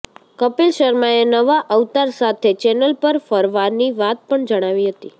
કપિલ શર્માએ નવા અવતાર સાથે ચેનલ પર ફરવાની વાત પણ જણાવી હતી